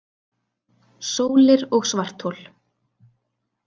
Sólir og svarthol